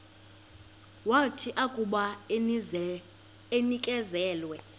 wathi akuba enikezelwe